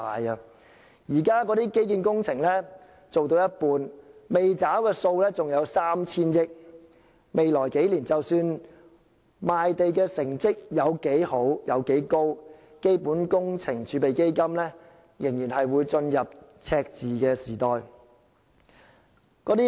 現時，基建工程做到一半，未付的款項還有 3,000 億元，未來數年，無論賣地成績多好，基本工程儲備基金仍然會進入赤字時代。